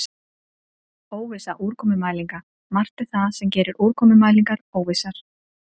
Óvissa úrkomumælinga Margt er það sem gerir úrkomumælingar óvissar.